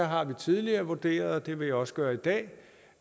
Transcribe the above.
har tidligere vurderet og det vil jeg også gøre i dag